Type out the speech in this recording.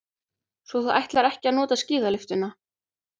Svo þú ætlar ekki að nota skíðalyftuna.